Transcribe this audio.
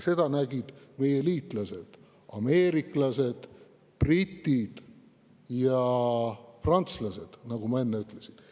Seda nägid meie liitlased ameeriklased, britid ja prantslased, nagu ma enne ütlesin.